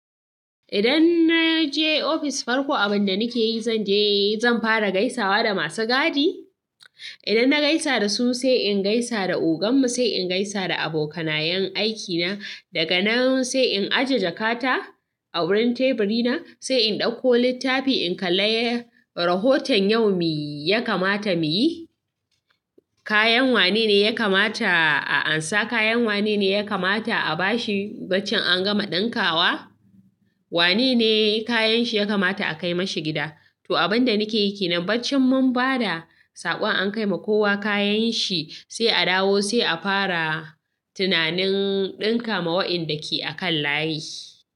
Idan na je ofis farko, abin da nake yi, zan je zan fara gaisawa da masu gadi. Idan na gaisa da su, sai in gaisa da ogan mu, sai in gaisa da abokanayen aikina. Daga nan sai in aje jakata a wurin teburi na, sai in ɗauko littafi in kalle rahoton yau me ya kamata mu yi, kayan wane ne ya kamata a ansa, kayan wane ne ya kamata a bashi bacci an gama ɗinkawa, wane ne kayanshi ya kamata a kai mashi gida. To abin da nake yi ke nan, bacci mun bada, saƙon an kai ma kowa kayanshi, sai a dawo sai a fara tunanin ɗinka ma waɗanda ke a kan layi.